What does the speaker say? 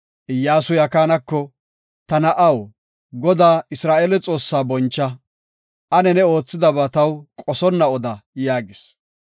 Iyyasuy Akaanako, “Ta na7aw, Godaa, Isra7eele Xoossaa boncha; ane ne oothidaba taw qosonna oda” yaagis.